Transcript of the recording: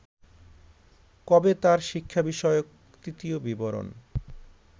কবে তাঁর শিক্ষা বিষয়ক তৃতীয় বিবরন